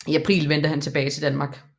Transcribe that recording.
I april vendte han tilbage til Danmark